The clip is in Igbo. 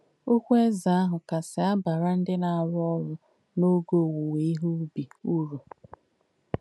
Òkwú èzē àhù kàsì àbàrà ndí nà-àrú òrū n’óge òwúwè íhe ùbì ùrù.